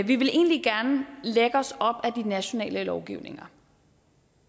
vi vil egentlig gerne lægge os op ad de nationale lovgivninger